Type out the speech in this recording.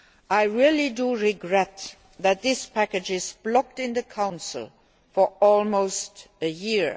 I really do regret that this package has been blocked in the Council for almost a year.